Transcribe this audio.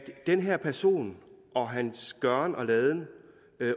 den her person og hans gøren og laden